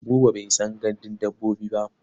Buba bai san gandun dabbobi ba.